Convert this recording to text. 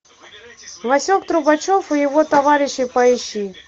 васек трубачев и его товарищи поищи